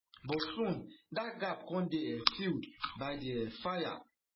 but soon dat gap come dey um filled by di um fire